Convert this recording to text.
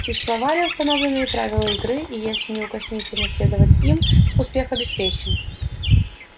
существовали установленные правила игры и если неукоснительно следовать им успех обеспечен